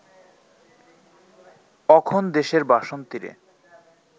অখন দেশের বাসন্তীরে